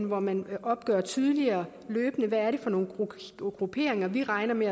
hvor man opgør tydeligere løbende hvad det er for nogle grupperinger vi regner med